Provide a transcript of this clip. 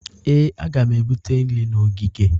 Ee, a ga m ebute nri na ogige